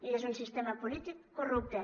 i és un sistema polític corrupte